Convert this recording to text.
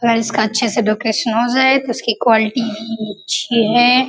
और इसका अच्छे से डेकोरेशन हो जाये तो इसकी क्वालिटी भी अच्छी है।